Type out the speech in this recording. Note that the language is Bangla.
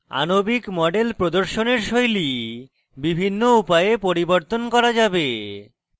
আণবিক model প্রদর্শনের style বিভিন্ন উপায়ে পরিবর্তন করা যাবে